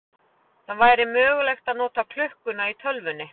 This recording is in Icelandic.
Það væri mögulegt að nota klukkuna í tölvunni.